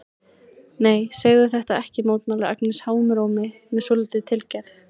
Nei, segðu þetta ekki, mótmælir Agnes háum rómi með svolítilli tilgerð.